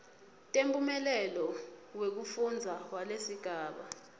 temphumela wekufundza walesigaba